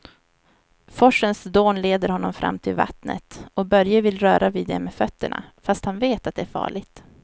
Forsens dån leder honom fram till vattnet och Börje vill röra vid det med fötterna, fast han vet att det är farligt.